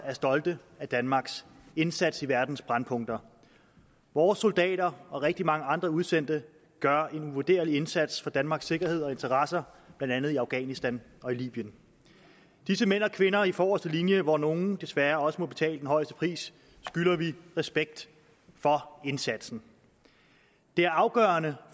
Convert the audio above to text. er stolte af danmarks indsats i verdens brændpunkter vores soldater og rigtig mange andre udsendte gør en uvurderlig indsats for danmarks sikkerhed og interesser blandt andet i afghanistan og i libyen disse mænd og kvinder i forreste linje hvor nogle desværre også må betale den højeste pris skylder vi respekt for indsatsen det er afgørende